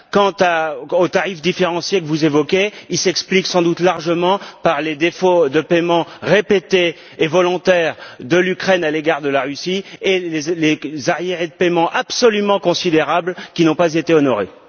Quant aux tarifs différenciés que vous évoquez, ils s'expliquent sans doute largement par les défauts de paiement répétés et volontaires de l'Ukraine à l'égard de la Russie et les arriérés de paiement absolument considérables qui n'ont pas été honorés.